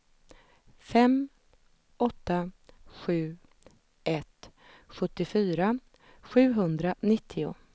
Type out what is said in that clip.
fem åtta sju ett sjuttiofyra sjuhundranittio